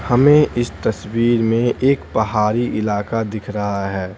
हमें इस तस्वीर में एक पहाड़ी इलाका दिख रहा है।